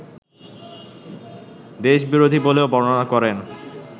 দেশবিরোধী বলেও বর্ণনা করেন